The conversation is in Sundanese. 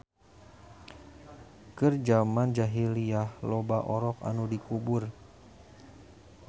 Keur jaman jahiliyyah loba orok anu dikubur